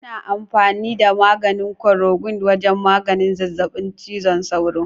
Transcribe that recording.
Ana amfani da korokwin wajen maganin zazzabin cizon sauro.